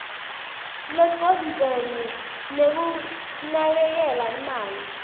lecondzene nekunakekela imali